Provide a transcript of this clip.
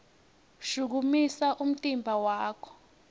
shukumisa umtimba wakho